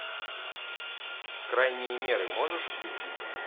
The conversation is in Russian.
крайние меры можешь включить